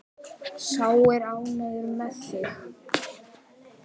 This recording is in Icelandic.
Sá er ánægður með þig!